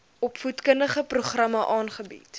opvoedkundige programme aanbied